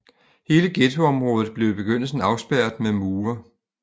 Hele ghettoområdet blev i begyndelsen afspærret med mure